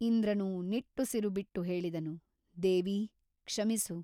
ಇಂದ್ರನು ನಿಟ್ಟುಸಿರುಬಿಟ್ಟು ಹೇಳಿದನು ದೇವಿ ಕ್ಷಮಿಸು.